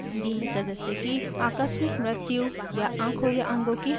बीमित सदस्य की आकस्मिक मृत्यु या आँखों या अंगों की हानि होने पर